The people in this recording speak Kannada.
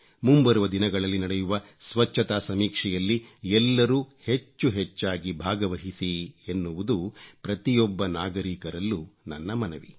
ಮುಂಬರುವ ದಿನಗಳಲ್ಲಿ ನಡೆಯುವ ಸ್ವಚ್ಚತಾ ಸಮೀಕ್ಷೆಯಲ್ಲಿ ಎಲ್ಲರೂ ಹೆಚ್ಚು ಹೆಚ್ಚಾಗಿ ಭಾಗವಹಿಸಿ ಎನ್ನುವುದು ಪ್ರತಿಯೊಬ್ಬ ನಾಗರೀಕರಲ್ಲೂ ನನ್ನ ಮನವಿ